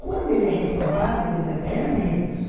Quando ele é reformado, ele ainda ganha menos.